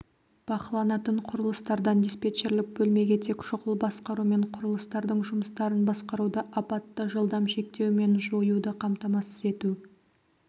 бақыланатын құрылыстардан диспетчерлік бөлмеге тек шұғыл басқару мен құрылыстардың жұмыстарын басқаруды апатты жылдам шектеу мен жоюды қамтамасыз ету